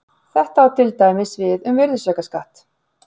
þetta á til dæmis við um virðisaukaskatt